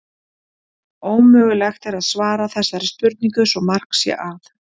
Ómögulegt er að svara þessari spurningu svo mark sé að.